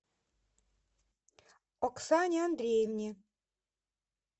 оксане андреевне